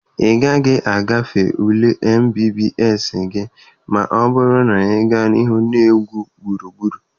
Ị gaghị agafe ule mbbs gị ma ọ bụrụ na ị gaa n'ihu na-egwu gburugburu.